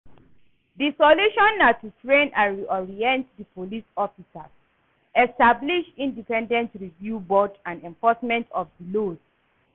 di solution na to train and reorient di police officers, establish independent review board and enforcement of di laws.